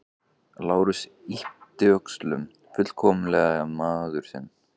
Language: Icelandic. Lárus yppti öxlum, fullkomlega miður sín.